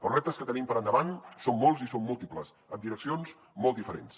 els reptes que tenim per endavant són molts i són múltiples en direccions molt diferents